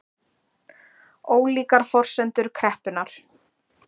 Ólíkar forsendur kreppunnar